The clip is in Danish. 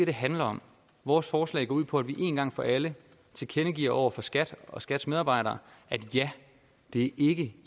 det handler om vores forslag går ud på at vi én gang for alle tilkendegiver over for skat og skats medarbejdere at det ikke